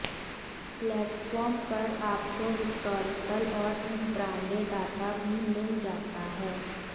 platform पर आपको historical और इंट्राडे डाटा भी मिल जाता है